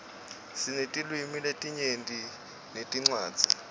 sinetilwimi letinyenti netincwadzi